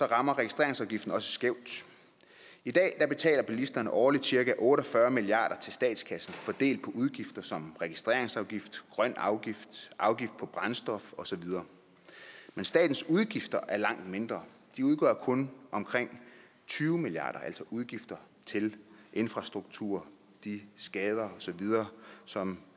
rammer registreringsafgiften også skævt i dag betaler bilisterne årligt cirka otte og fyrre milliard kroner til statskassen fordelt på udgifter som registreringsafgift grøn afgift afgift på brændstof osv men statens udgifter er langt mindre de udgør kun omkring tyve milliard altså udgifter til infrastruktur de skader osv som